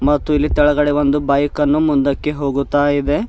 ಮತ್ತು ಇಲ್ಲಿ ತೆಳಗಡೆ ಒಂದು ಬೈಕ್ ಅನ್ನು ಮುಂದಕ್ಕೆ ಹೋಗುತ್ತಾ ಇದೆ.